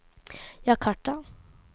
Jakarta